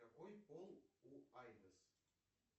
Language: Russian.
какой пол у айдес